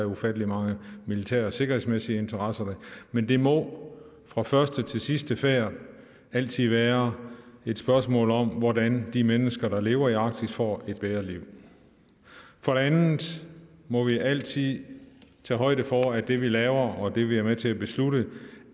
ufattelig mange militære og sikkerhedsmæssige interesser men det må fra første til sidste færd altid være et spørgsmål om hvordan de mennesker der lever i arktis får et bedre liv for det andet må vi altid tage højde for at det vi laver og det vi er med til at beslutte